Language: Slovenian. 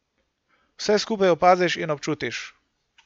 Vse skupaj opaziš in občutiš!